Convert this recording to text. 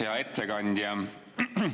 Hea ettekandja!